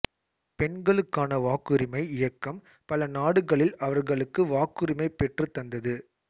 பெண்களுக்கான வாக்குரிமை இயக்கம் பல நாடுகளில் அவர்களுக்கு வாக்குரிமை பெற்றுத் தந்தது